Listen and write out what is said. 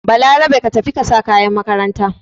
Balarabe ka tafi ka sa kayan makaranta!